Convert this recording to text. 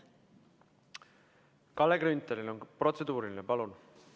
Kalle Grünthalil on protseduuriline, palun!